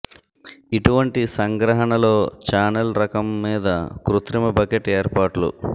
ఇటువంటి సంగ్రహణ లో ఛానెల్ రకం మీద కృత్రిమ బకెట్ ఏర్పాట్లు